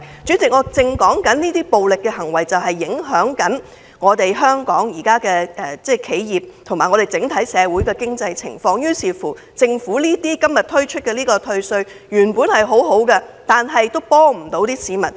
主席，我是要指出，這些暴力行為現正影響香港的企業和整體經濟，所以政府今天提出寬免稅項雖是好事，但卻幫不了市民。